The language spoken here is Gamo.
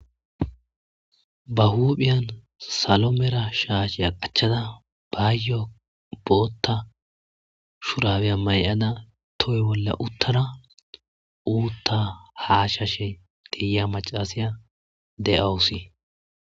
Ba huphiyan salo mala shaashiya qachada bayo boota shurabiya mayada toho bolla utada uuta hashashe de'iya macashiya de'awusi.